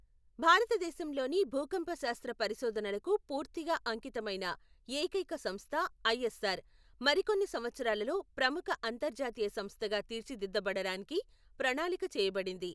భారతదేశంలోని భూకంపశాస్త్ర పరిశోధనలకు పూర్తిగా అంకితమైన ఏకైక సంస్థ ఐఎస్ఆర్, మరికొన్ని సంవత్సరాలలో ప్రముఖ అంతర్జాతీయ సంస్థగా తీర్చిదిద్దబడడానికి ప్రణాళిక చేయబడింది.